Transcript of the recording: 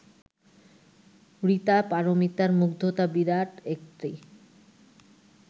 ঋতা পারমিতার মুগ্ধতা বিরাট একটি